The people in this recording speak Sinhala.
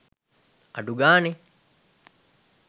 අඩු ගානේ